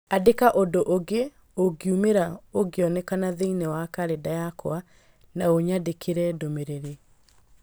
Andĩka ũndũ ũngĩ ũngiumĩra ũngĩoneka thĩinĩ wa kalenda yakwa na ũnyandĩkĩre ndũmĩrĩri